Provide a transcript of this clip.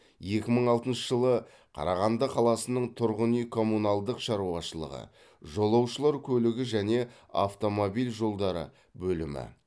екі мың алтыншы жылы қарағанды қаласының тұрғын үй коммуналдық шаруашылығы жолаушылар көлігі және автомобиль жолдары бөлімі